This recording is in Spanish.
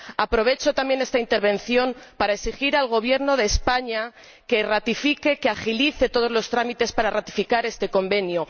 Aprovecho también esta intervención para exigir al Gobierno de España que ratifique, que agilice todos los trámites para ratificar este Convenio.